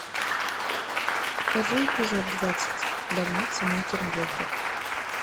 покажи эпизод двадцать больница никербокер